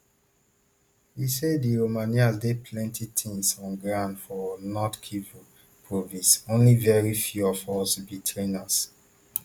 e say di romanians do plenty things on ground for north kivu province only very few of us be trainers